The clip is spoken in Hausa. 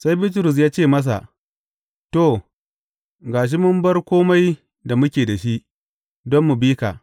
Sai Bitrus ya ce, masa, To, ga shi mun bar kome da muke da shi, don mu bi ka!